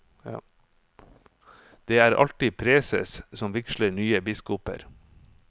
Det er alltid preses som vigsler nye biskoper.